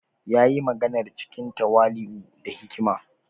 Ya yi maganar cikin tawali’u da hikima.